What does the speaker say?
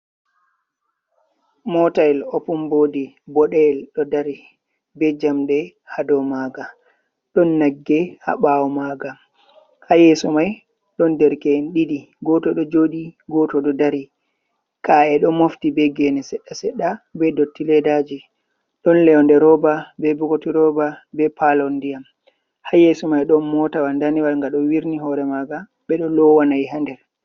Mota yel opumbodi boɗeyel ɗo dari ɓe jamɗe hado maga ɗon nagge ha ɓawo maga hayesso mai ɗon derke en ɗidi goto ɗo joɗi, goto ɗo dari, ka’e ɗo mofti be gene seɗɗa-seɗɗa be dotti ledaji ɗon leyode roba ɓe bokoti roba ɓe palondiam haye sumai ɗon motawa daniwal ga ɗo wirni hore maga ɓeɗo lowa na'i ha nder.